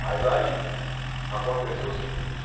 Mas aí aconteceu o seguinte.